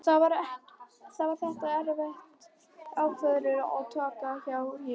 Var þetta erfið ákvörðun að taka hjá þér?